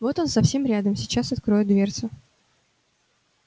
вот он совсем рядом сейчас откроет дверцу